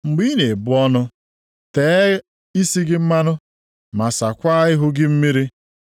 Mgbe ị na-ebu ọnụ, tee isi gị mmanụ, ma saakwa ihu gị mmiri,